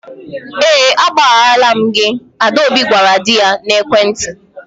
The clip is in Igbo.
Ee agbagharala m gị, Adaobi gwara di ya n'ekwentị.